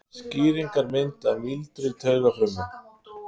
Skýringarmynd af mýldri taugafrumu.